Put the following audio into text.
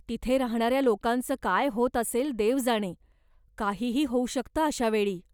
तिथे राहण्याऱ्या लोकांच काय होत असेल देव जाणे, काहीही होऊ शकतं अशा वेळी!